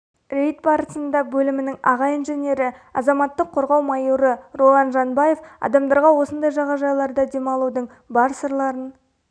рейд барысында бөлімінің аға инженері азаматтық қорғау майоры ролан жанбаев адамдарға осындай жағажайларда демалудың бар сырларын